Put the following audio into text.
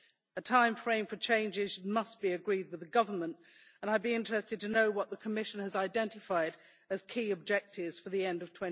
A timeframe for changes must be agreed with the government, and I would be interested to know what the Commission has identified as key objectives for the end of